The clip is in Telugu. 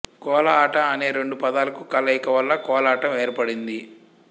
కోల ఆట అనే రెండు పదాల కలయిక వల్ల కోలాటం ఏర్పడింది